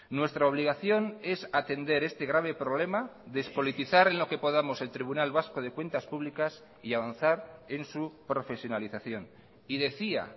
nuestra obligación es atender este grave problema despolitizar en lo que podamos el tribunal vasco de cuentas públicas y avanzar en su profesionalización y decía